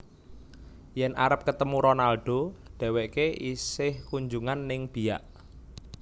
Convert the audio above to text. Yen arep ketemu Ronaldo dheweke isih kunjungan ning Biak